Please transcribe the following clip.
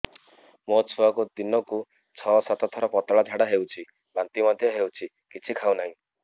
ମୋ ଛୁଆକୁ ଦିନକୁ ଛ ସାତ ଥର ପତଳା ଝାଡ଼ା ହେଉଛି ବାନ୍ତି ମଧ୍ୟ ହେଉଛି କିଛି ଖାଉ ନାହିଁ